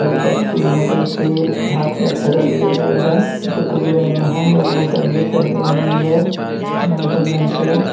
एक बच्ची है जो कि हाथ में थैला लिए हुए है जो ब्लू रंग में है और वो गंजी पहनी हुई है महरूम रंग के।